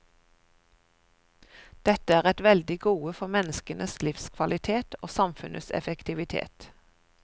Dette er et veldig gode for menneskenes livskvalitet og samfunnets effektivitet.